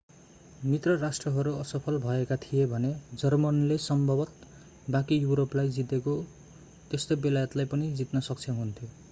मित्र राष्ट्रहरू असफल भएका थिए भने जर्मनीले सम्भवतः बाँकी युरोपलाई जीतेको जस्तै बेलायतलाई पनि जीत्न सक्षम हुन्थ्यो